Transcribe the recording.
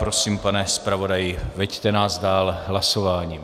Prosím, pane zpravodaji, veďte nás dál hlasováním.